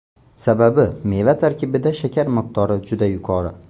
Sababi meva tarkibida shakar miqdori juda yuqori.